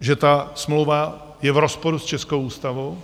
Že ta smlouva je v rozporu s českou ústavou?